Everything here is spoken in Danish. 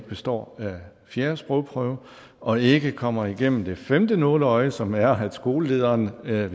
består fjerde sprogprøve og ikke kommer igennem det femte nåleøje som er at skolelederen ved